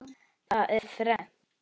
Það er þrennt.